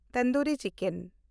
tandoori chicken